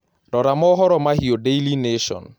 rora mohoro mahĩũ daily nation